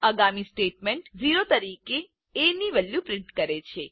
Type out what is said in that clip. આગામી સ્ટેટમેન્ટ ઓ તરીકે એ ની વેલ્યુ પ્રિન્ટ કરે છે